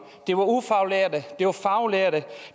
det var ufaglærte det var faglærte